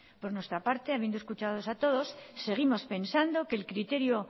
por nuestra parte habiendo escuchadolos a todos seguimos pensando que el criterio